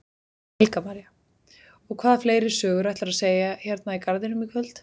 Helga María: Og hvaða fleiri sögur ætlarðu að segja hérna í garðinum í kvöld?